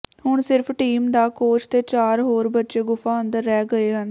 ਹੁਣ ਸਿਰਫ ਟੀਮ ਦਾ ਕੋਚ ਤੇ ਚਾਰ ਹੋਰ ਬੱਚੇ ਗੁਫਾ ਅੰਦਰ ਰਹਿ ਗਏ ਹਨ